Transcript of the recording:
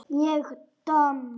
Ég domm?